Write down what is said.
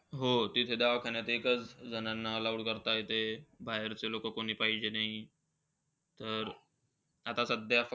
हो, तिथे दवाखान्यात एकच जणांना allowed करतायत ते. बाहेरचे लोकं कोणी पाहिजे नाही. तर, आता सध्या फक्त